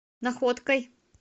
находкой